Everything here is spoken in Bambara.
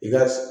I ka